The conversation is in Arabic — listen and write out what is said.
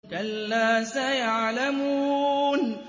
كَلَّا سَيَعْلَمُونَ